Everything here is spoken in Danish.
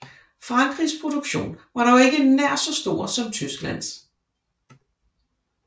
Frankrigs produktion var dog ikke nær så stor som Tysklands